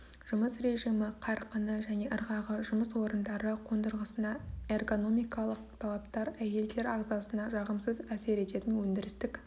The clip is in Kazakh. жұмыс режимі қарқыны және ырғағы жұмыс орындары қондырғысына эргономикалық талаптар әйелдер ағзасына жағымсыз әсер ететін өндірістік